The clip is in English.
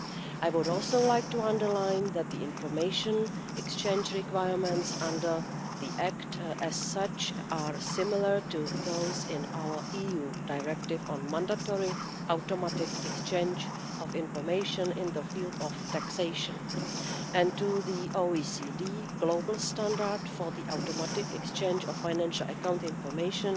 I would also like to underline that the information exchange requirements under the Act, as such, are similar to those in our EU directive on mandatory automatic exchange of information in the field of taxation and to the OECD global Standard for Automatic Exchange of Financial Account Information,